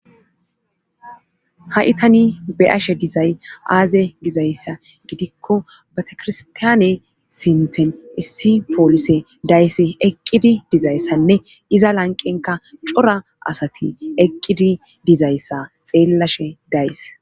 Ha7i tani be'ashe dizay aaze gizayssa gidikko betekirstaane sinthen issi poolise days eqqidi dizayssanne iza lanqenka cora asati eqqidi dizayssa xeellashe days.